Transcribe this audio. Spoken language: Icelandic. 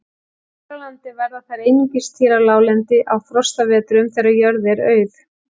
Hér á landi verða þær einungis til á láglendi á frostavetrum, þegar jörð er auð.